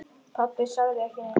Pabbi sagði ekki neitt.